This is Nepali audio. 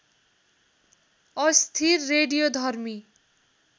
अस्थिर रेडियोधर्मी